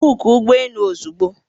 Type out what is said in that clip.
bookuọ ụgbọ elu ozugbo!